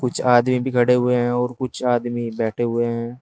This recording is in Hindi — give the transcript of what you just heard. आदमी खड़े हुए हैं और कुछ आदमी बैठे हुए हैं।